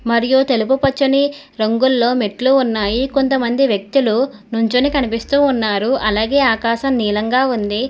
మరియు తెలుపు పచ్చని రంగులో మెట్లు ఉన్నాయి కొంతమంది వ్యక్తులు నుంచొని కనిపిస్తూ ఉన్నారు అలాగే ఆకాశం నీలంగా ఉంది.